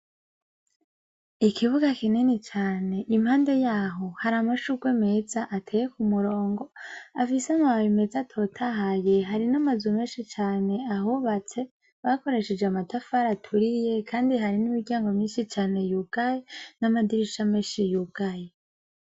Ikibuga kinini cane, impande yaho haramashugwe meza ateye kumurongo afise amababi meza atotahaye. Harinamazu meshi cane ahubatse bakoresheje amatafari aturiye kandi hari n'imiryango myishi cane yugaye n'amadirisha meshi yugaye